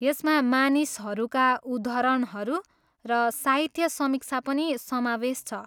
यसमा मानिसहरूका उद्धरणहरू र साहित्य समीक्षा पनि समावेश छ।